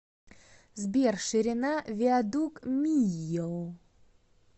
сбер ширина виадук мийо